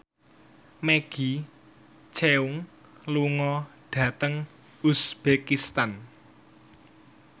Maggie Cheung lunga dhateng uzbekistan